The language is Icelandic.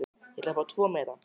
Ég ætla að fá tvo miða.